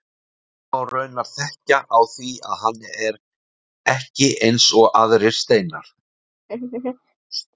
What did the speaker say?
Hann má raunar þekkja á því að hann er ekki eins og aðrir steinar.